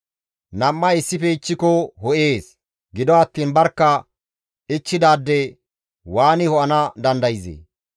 Nam7ay issife ichchiko ho7ees; gido attiin barkka ichchidaade waani ho7ana dandayzee?